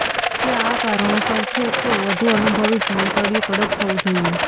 તે આ કારણોસર છે કે વધુ અનુભવી ભોંયતળિયું કડક થવું જોઈએ